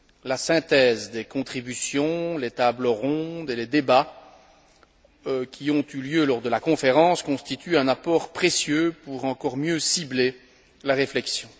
La synthèse des contributions, les tables rondes et les débats qui ont eu lieu lors de la conférence constituent un apport précieux pour encore mieux cibler la réflexion.